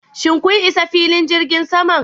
Shin kun isa filin jirgin saman?